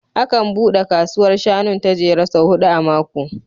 Akan buɗe kasuwar shanun ta Jere sau huɗu a mako